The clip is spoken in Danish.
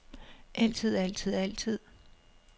altid altid altid